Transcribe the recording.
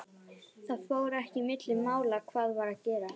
Það fór ekki milli mála hvað var að gerast.